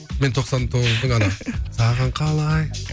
мен тоқсан тоғыздың ана саған қалай